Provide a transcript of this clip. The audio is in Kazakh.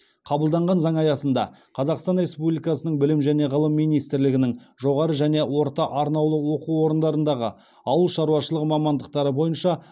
қабылданған заң аясында қазақстан республикасының білім және ғылым министрлігінің жоғары және орта арнаулы оқу орындарындағы ауыл шаруашылығы мамандықтары бойынша